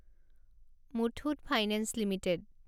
Muthoot finance limited